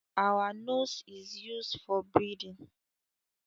Our nose is used for breathing